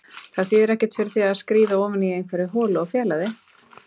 Það þýðir ekkert fyrir þig að skríða ofan í einhverja holu og fela þig.